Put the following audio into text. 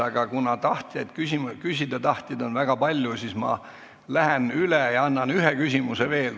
Aga kuna küsida tahtjaid on väga palju, siis ma lähen ajast üle ja annan ühe küsimisvõimaluse veel.